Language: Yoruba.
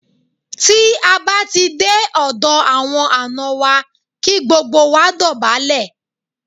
Tí a bá ti dé ọ̀dọ̀ àwọn àná wa, kí gbogbo wa dọ̀bálẹ̀.